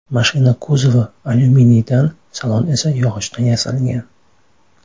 Mashina kuzovi alyuminiydan, salon esa yog‘ochdan yasalgan.